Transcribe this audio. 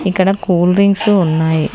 ఇక్కడ cool drinks ఉన్నాయ్.